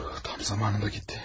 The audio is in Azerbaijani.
Tam zamanında getdi.